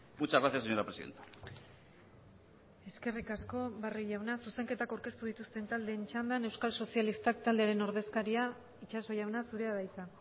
muchas gracias señora presidenta eskerrik asko barrio jauna zuzenketak aurkeztu dituzten taldeen txandan euskal sozialistak taldearen ordezkaria itxaso jauna zurea da hitza